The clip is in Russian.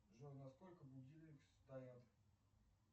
джой на сколько будильник стоят